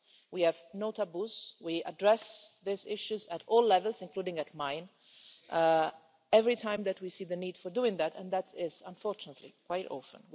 We have no taboos, we address these issues at all levels, including at mine, every time that we see the need for doing that, and that is, unfortunately, quite often.